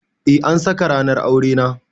Eh an saka ranar aure na.